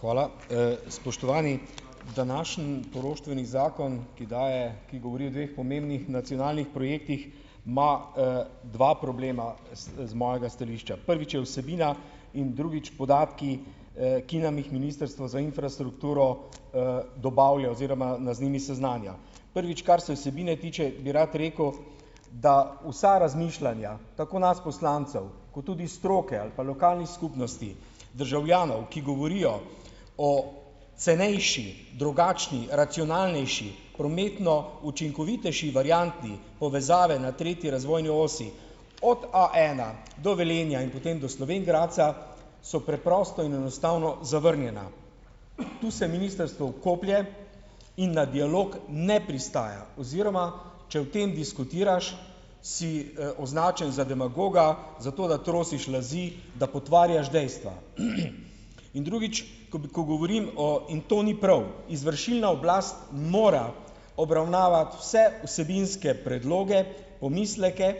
Hvala, spoštovani. Današnji poroštveni zakon, ki daje, ki govori o dveh pomembnih nacionalnih projektih, ima, dva problema z mojega stališča: prvič je vsebina in drugič podatki, ki nam jih ministrstvo za infrastrukturo, dobavlja, oziroma da z njimi seznanja, prvič, kar se vsebin tiče, bi rad rekel, da vsa razmišljanja tako nas poslancev kot tudi stroke ali pa lokalnih skupnosti, državljanov, ki govorijo o cenejši, drugačni, racionalnejši prometno učinkovitejši varianti povezave na tretji razvojni osi od A ena do Velenja in potem do Slovenj Gradca, so preprosto in enostavno zavrnjena, tu se ministrstvo vkoplje in na dialog ne pristaja, oziroma če o tem diskutiraš, si, označen za demagoga, za to, da trosiš laži, da potvarjaš dejstva, in drugič, ko bi, ko govorim o, in to ni prav, izvršilna oblast mora obravnavati vse vsebinske predloge, pomisleke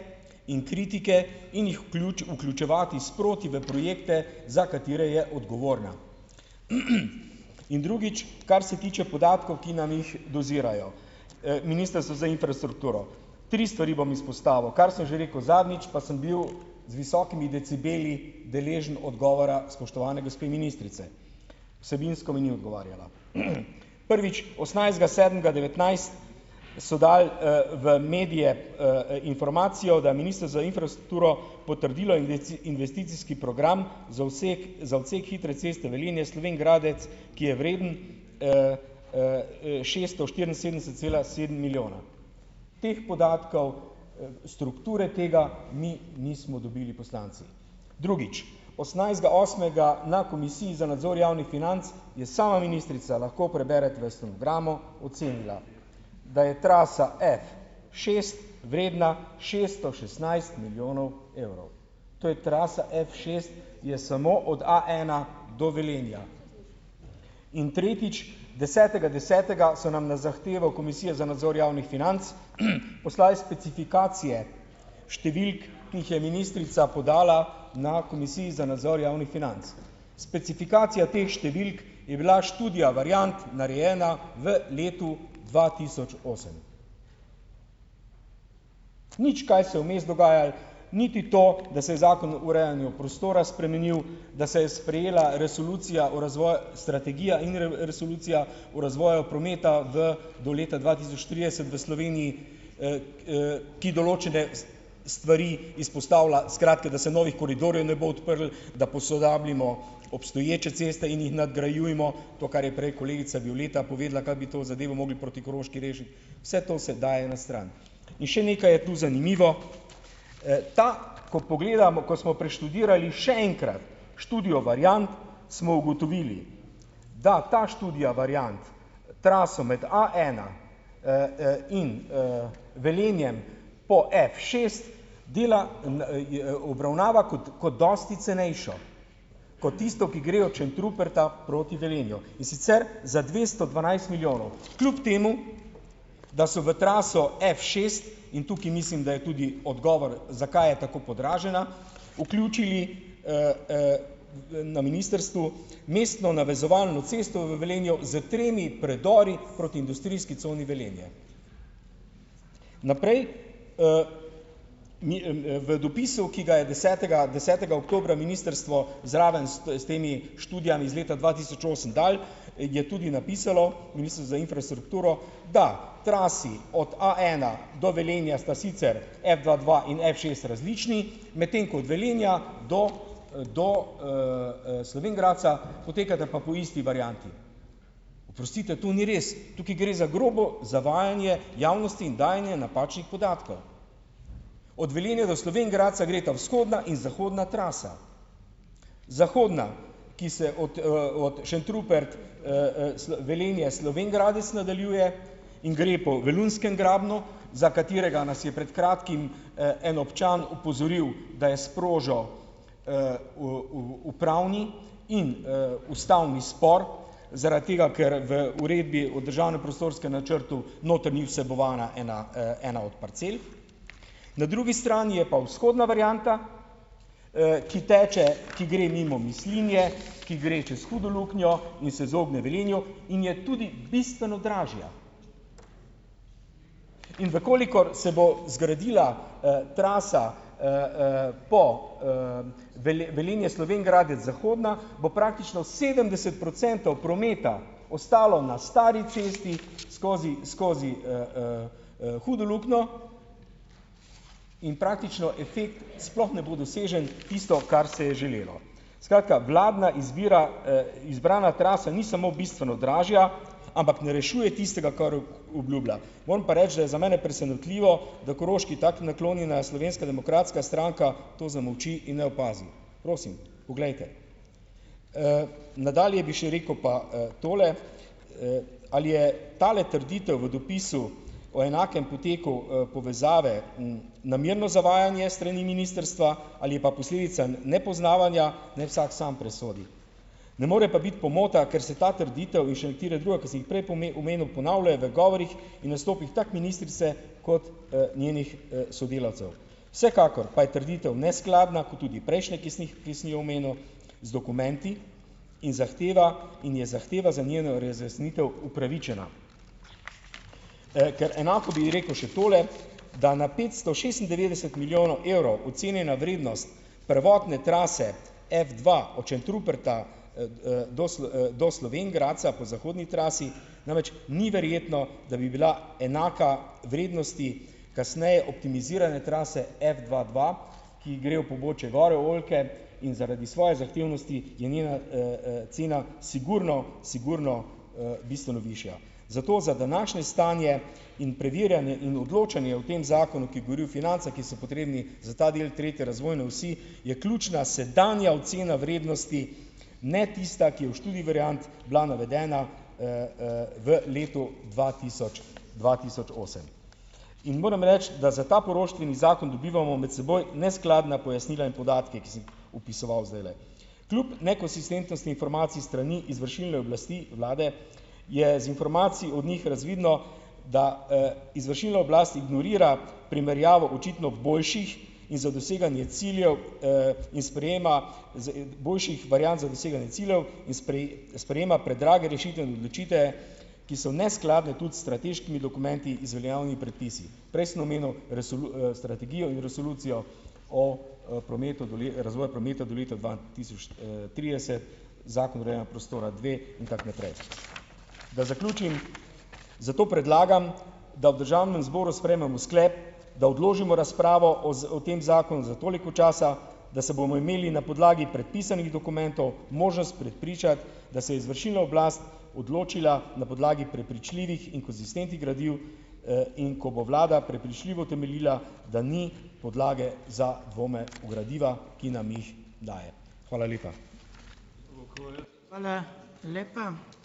in kritike in jih vključevati sproti v projekte, za katere je odgovorna, in drugič, kar se tiče podatkov, ki nam jih dozirajo, ministrstvo za infrastrukturo, tri stvari bom izpostavil, kar sem že rekel zadnjič, pa sem bil z visokimi decibeli deležen odgovora spoštovane gospe ministrice, vsebinsko mi ni odgovarjala, prvič osemnajstega sedmega devetnajst so dali, v medije, informacijo, da minister za infrastrukturo potrdil investicijski program odsek hitre ceste Velenje-Slovenj Gradec, ki je vreden, šeststo štiriinsedemdeset cela sedem milijona, teh podatkov, strukture, tega mi nismo dobili, poslanci, drugič, osemnajstega osmega na komisiji za nadzor javnih financ je sama ministrica, lahko preberete v stenogramu, ocenila, da je trasa F šest vredna šesto šestnajst milijonov evrov, to je trasa F šest, je samo od A ena do Velenja, in tretjič, desetega desetega so nam na zahtevo komisije za nadzor javnih financ poslali specifikacije številk, ki jih je ministrica podala na komisiji za nadzor javnih financ, specifikacija teh številk je bila študija variant, narejena v letu dva tisoč osem, nič kaj se je vmes dogajalo, niti to, da se je zakon o urejanju prostora spremenil, da se je sprejela resolucija o razvoju, strategija in resolucija o razvoju prometa v do leta dva tisoč trideset v Sloveniji, ki določene stvari izpostavlja, skratka, da se novih koridorjev ne bo odprlo, da posodabljajmo obstoječe ceste in jih nadgrajujmo, to, kar je prej kolegica Violeta povedala, kako bi to zadevo mogli proti Koroški rešiti, vse to se daje na stran, in še nekaj je to zanimivo, ta, ko pogledamo, ko smo preštudirali še enkrat študijo variant, smo ugotovili da ta študija variant traso med A ena, in, Velenjem po F šest dela obravnava kot, kot dosti cenejšo kot tisto, ki gre od Šentruperta proti Velenju, in sicer za dvesto dvanajst milijonov, kljub temu da so v traso F šest, in tukaj mislim, da je tudi odgovor, zakaj je tako podražena, vključili, na ministrstvu mestno navezovalno cesto v Velenju s tremi predori proti industrijski coni Velenje. Naprej, mi, v dopisu, ki ga je desetega desetega oktobra ministrstvo zraven s temi študijami z leta dva tisoč osem dalo, je tudi napisalo ministrstvo za infrastrukturo, da trasi od a ena do Velenja sta sicer f dva dva in f šest različni, medtem ko od Velenja do, do, Slovenj Gradca potekata pa po isti varianti. Oprostite, to ni res, tukaj gre za grobo zavajanje javnosti in dajanje napačnih podatkov, od Velenja do Slovenj Gradca gresta vzhodna in zahodna trasa, zahodna, ki se od, od Šentrupert, Velenje, Slovenj Gradec nadaljuje in gre po Velunjskem grabnu, za katerega nas je pred kratkim, en občan opozoril, da je sprožil, upravni in, ustavni spor zaradi tega, ker v uredbi o državno prostorskem načrtu noter ni vsebovana ena, ena od parcel, na drugi strani je pa vzhodna varianta, ki teče, ki gre mimo Mislinje, ki gre čez hudo luknjo in se izogne Velenju in je tudi bistveno dražja, in v kolikor se bo zgradila, trasa, po, Velenje-Slovenj Gradec zahodna, bo praktično sedemdeset procentov prometa ostalo na stari cesti skozi skozi, Hudo luknjo in praktično efekt sploh ne bo dosežen, tisto, kar se je želelo, skratka, vladna izbira, izbrana trasa ni samo bistveno dražja, ampak ne rešuje tistega, kar obljublja, moram pa reči, da je za mene presenetljivo, da Koroški tako ni naklonjena Slovenska demokratska stranka, to zamolči in ne opazi, prosim, poglejte, nadalje bi še rekel pa, tole, ali je tale trditev v dopisu o enakem poteku, povezave namerno zavajanje strani ministrstva ali je pa posledica nepoznavanja, naj vsak sam presodi, ne mora pa biti pomota, ker se ta trditev in še katera druga, ki sem jih prej omenil, ponavljajo v govorih in nastopih tako ministrice kot, njenih, sodelavcev, vsekakor pa je trditev neskladna kot tudi prejšnje, ki sem jih, ki sem jih omenil z dokumenti, in zahteva in je zahteva za njeno razjasnitev upravičena. ker enako bi rekel še tule, da na petsto šestindevetdeset milijonov evrov ocenjena vrednost prvotne trase F dva od Šentruperta, do Slovenj Gradca po zahodni trasi, namreč ni verjetno, da bi bila enaka vrednosti kasneje optimizirane trase F dva dva, ki gre v pobočje gor v oljke in zaradi svoje zahtevnosti je njena, cena sigurno sigurno, bistveno višja, zato za današnje stanje in preverjanje in odločanje o tem zakonu, ki govori o financah, ki so potrebni za ta del tretje razvojne osi, je ključna sedanja ocena vrednosti, ne tista, ki v študiji variant bila navedena, v letu dva tisoč, dva tisoč osem, in moram reči, da za ta poroštveni zakon dobivamo med seboj neskladna pojasnila in podatke, opisoval zdajle kljub nekonsistentnosti informacij s strani izvršilne oblasti, vlade, je z informacij od njih razvidno, da, izvršilna oblast ignorira primerjavo očitno ob boljših, in za doseganje ciljev, in sprejema boljših variant za doseganje ciljev in sprejema predrage rešitvene odločitve, ki so v neskladju tudi s strateškimi dokumenti z veljavnimi predpisi, prej sem omenil strategijo in resolucijo o, prometu razvoja prometa do leta dva tisoč, trideset, zakon o urejanju prostora dve, in tako naprej, da zaključim, zato predlagam, da v državnem zboru sprejmemo sklep, da odložimo razpravo o z o tem zakonu za toliko časa, da se bomo imeli na podlagi predpisanih dokumentov možnost prepričati, da se izvršilna oblast odločila na podlagi prepričljivih in konsistentnih gradiv, in ko bo vlada prepričljivo utemeljila, da ni podlage za dvome v gradiva, ki nam jih dajo. Hvala lepa.